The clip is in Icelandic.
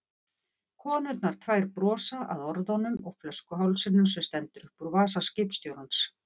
Konurnar tvær brosa, að orðunum og flöskuhálsinum sem stendur upp úr vasa skipstjórans.